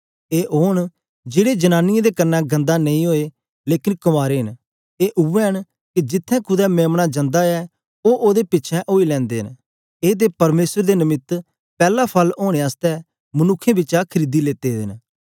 ए ओन जेड़े जनांनीयें दे कन्ने गन्दा नेई ओए लेकन कंवारे न ए उवै न के जिथें कुदै मेम्ना जांदा ऐ ओ ओदे पिछें ओई लैंदे न ए ते परमेसर दे नमित्त पैला फल ओनें आसतै मनुक्खें बिचा खरीदी लेते दे न